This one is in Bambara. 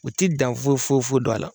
U ti dan foyi fo fo do a la